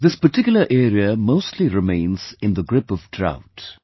This particular area mostly remains in the grip of drought